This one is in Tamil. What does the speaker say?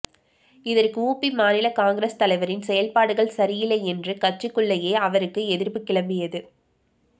இதற்கு உபி மாநில காங்கிரஸ் தலைவரின் செயல்பாடுகள் சரியில்லை என்று கட்சிக்குள்ளேயே அவருக்க்கு எதிர்ப்பு கிளம்பியது